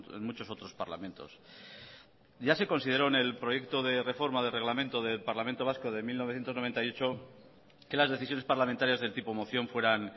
en muchos otros parlamentos ya se consideró en el proyecto de reforma del reglamento del parlamento vasco de mil novecientos noventa y ocho que las decisiones parlamentarias del tipo moción fueran